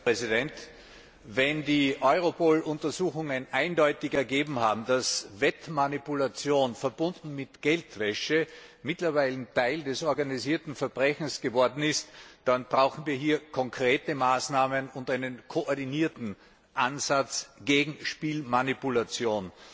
Herr Präsident! Wenn die Europol Untersuchungen eindeutig ergeben haben, dass Wettmanipulation, verbunden mit Geldwäsche, mittlerweile Teil des organisierten Verbrechens geworden ist, dann brauchen wir hier konkrete Maßnahmen und einen koordinierten Ansatz gegen Spielmanipulation.